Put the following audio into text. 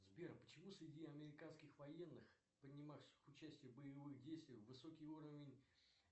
сбер почему среди американских военных принимавших участие в боевых действиях высокий уровень